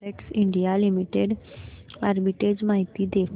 Havells India limited arbitrage माहिती दे